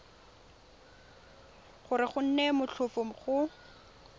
gore go nne motlhofo go